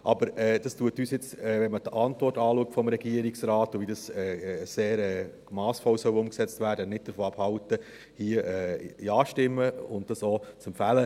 Aber das hält uns, wenn man sich die Antwort des Regierungsrates anschaut und wie sehr massvoll das umgesetzt werden soll, nicht davon ab, hier Ja zu stimmen und das auch zu empfehlen.